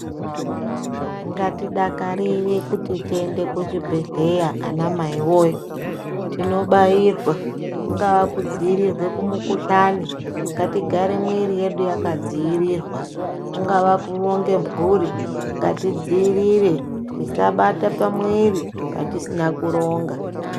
Ngatidakarire kuti tiende kuchibhedhleya anamai voye, tinobairwa kungaa kudzivirirwa kumukuhlani, ngatigare mwiri yedu yakadzivirirwa. Kungava kuronge mhuri ngati dzirire tisabata pamuviri patisina kuronga.